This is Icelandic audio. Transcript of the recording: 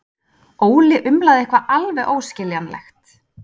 Óli umlaði eitthvað alveg óskiljanlegt.